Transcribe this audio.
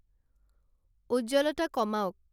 উজ্জ্বলতা কমাওক